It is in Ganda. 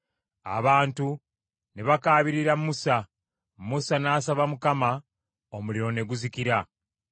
Abantu ne bakaabirira Musa; Musa n’asaba Mukama , omuliro ne guzikira.